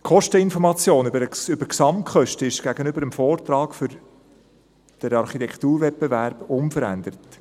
Die Kosteninformation über die Gesamtkosten ist gegenüber dem Vortrag für den Architekturwettbewerb unverändert: